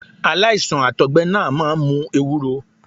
Aláìsàn Àtọ̀gbẹ náà máa ń mu ewúro.